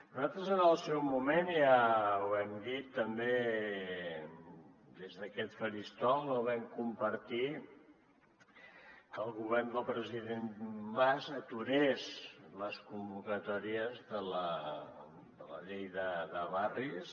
nosaltres en el seu moment ja ho hem dit també des d’aquest faristol no vam compartir que el govern del president mas aturés les convocatòries de la llei de barris